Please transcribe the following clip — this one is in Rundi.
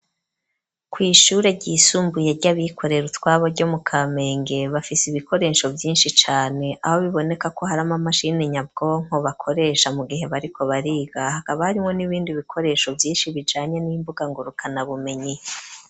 Kw'ishure ryisumbuye ryabikorera utwabo ryo mu kamenge bafise ibikoresho byinshi cane aho biboneka ko harimo amashini nyabwonko bakoresha mu gihe bariko bariga hakaba harimo n'ibindi bikoresho byinshi bijanye n'imbuga ngo rukana bumenyi.